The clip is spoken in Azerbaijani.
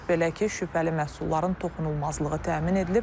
Belə ki, şübhəli məhsulların toxunulmazlığı təmin edilib.